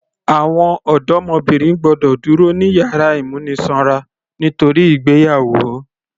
Àwọn ọdọmọbìnrin gbọ́dọ̀ dúró ní yàrá ìmúnisanra nítorí ìgbéyàwó